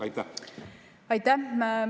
Aitäh!